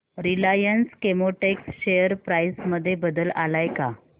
Reliance Chemotex share price मध्ये बदल आलाय का